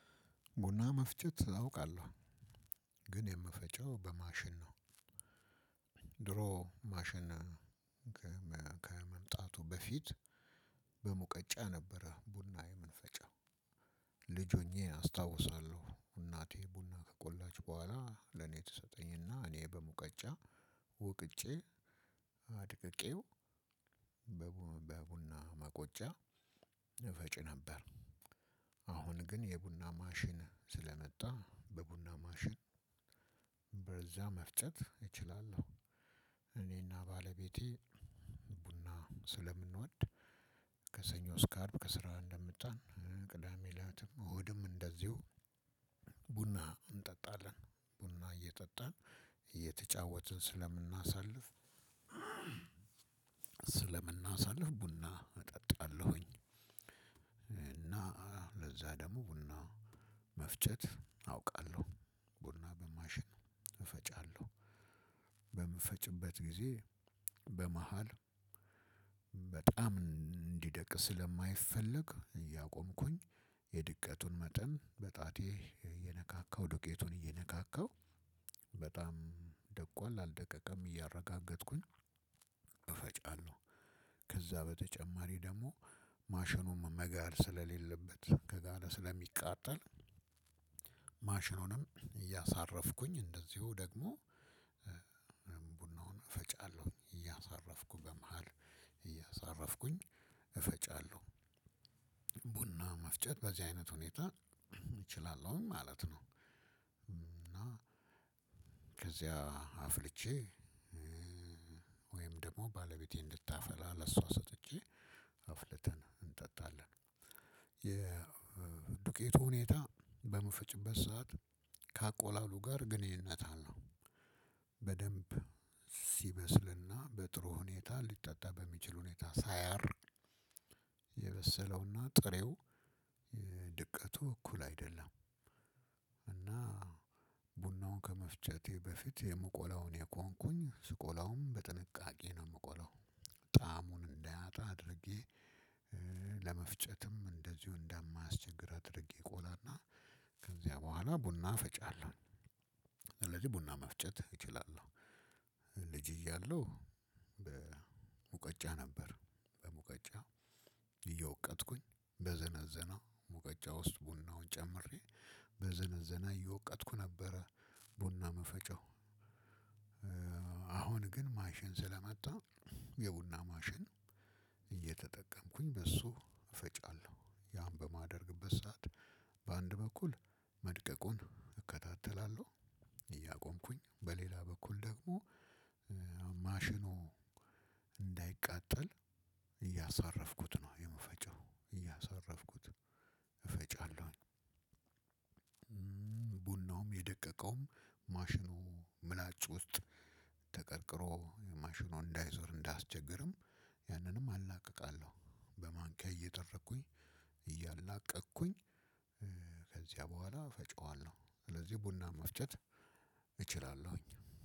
ቡና መፍጨት አውቃለሁ። ግን የምፈጨው በማሽን ነው። ድሮ ማሽን ከመምጣቱ በፊት በሙቀጫ ነበረ ቡና የምፈጨው። ልጅ ሆኜ አስታውሳለሁ እናቴ ከቆለች በኋላ ለኔ ትሰጠኝና እኔ በሙቀጫ ወቅጬ በቡና መቆጫ እፈጭ ነበር። አሁን ግን የቡና ማሽን ስለመጣ በቡና ማሽን በዛ መፍጨት እችላለሁ። እኔና ባለቤቴ ቡና ስለምንወድ ከሰኞ እስከ አርብ ከስራ እንደመጣን ቅዳሜ ለሊትም እሁድም እንደዚሁ ቡና እንጠጣለን። ቡና እየጠጣን እየተጫወትን ስለምናሳልፍ ስለምናሳልፍ ቡና እጠጣለሁኝ። እና ለዛ ደግሞ ቡና መፍጨት አውቃለሁ። ቡና በማሽን እፈጫለሁ። በምፈጭበት ጊዜ በመሃል በጣም እንዲደቅ ስለማይፈለግ እያቆምኩኝ የድቀቱን መጠን በጣቴ እየነካካው ዱቄቱን እየነካካው በጣም ደቋል አልደቀቀም እያረጋገጥኩኝ እፈጫለሁ። ከዛ በተጨማሪ ደግሞ ማሽኑም መጋል ስለሌለበት ከጋላ ስለሚቃጠል ማሽኑንም እያሳረፍኩኝ እንደዚሁ ደግሞ ቡናውን እፈጫለሁ እያሳረፍኩ በመሃል እያሳረፍኩኝ እፈጫለሁ። ቡና መፍጨት በዚህ አይነት ሁኔታ እችላለሁ ማለት ነው። እና ከዚያ አፍልቼ ወይም ደግሞ ባለቤቴ እንድታፈላ ለእሷ ሰጥቼ አፍልታን እንጠጣልን። የዱቄቱ ሁኔታ በምፈጭበት ሰዓት ከአቆላሉ ጋር ግንኙነት አለው። በደንብ ሲበስልና በጥሩ ሁኔታ ሊጠጣ በሚችል ሁኔታ ሳያር የበሰለውና ጥሬው ድቀቱ እኩል አይደለም። እና ቡናውን ከመፍጨቴ በፊት የምቆላውን እየቆምኩኝ ስቆላውም በጥንቃቄ ነው የምቆለው። ጣዕሙን እንዳያጣ አድርጌ ለመፍጨትም እንደዚሁ እንዳማያስቸግር አድርጌ እቆላና ከዚያ በኋላ ቡና ፈጫለሁ። ስለዚህ ቡና መፍጨት እችላለሁ። ልጅ እያለሁ በሙቀጫ ነበር በሙቀጫ እየወቀጥኩኝ በዘነዘነው ሙቀጫ ውስጥ ቡናውን ጨምሬ በዘነዘነ እየወቀጥኩ ነበረ። ቡና ምፈጨው። አሁን ግን ማሽን ስለመጣ የቡና ማሽን በእሱ እፈጫለሁ። ያን በማደርግበት ሰዓት በአንድ በኩል መድቀቁን እከታተላለሁ። እያቆምኩኝ በሌላ በኩል ደግሞ ማሽኑ እንዳይቃጠል እያሳረፍኩት ነው የምፈጫው፣ እያሳረፍኩት እፈጫለሁኝ። ቡናውም የደቀቀውም ማሽኑ ምላጭ ውስጥ ተቀርቅሮ ማሽኑ እንዳይዞር እንዳያስቸግርም ያንንም አላቅቃለሁ። በማንኪያ እየደረኩኝ እያላቀቅኩኝ ከዚያ በኋላ እፈጫዋለሁ። ስለዚህ ቡና መፍጨት እችላለሁኝ።